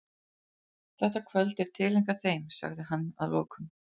Þetta kvöld er tileinkað þeim, sagði hann að lokum.